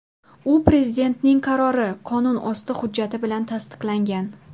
U Prezidentning qarori – qonunosti hujjati bilan tasdiqlangan.